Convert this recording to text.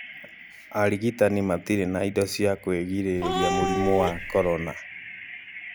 arĩgitanĩ matirĩ na indo cia kwĩrireria murimũ wa korona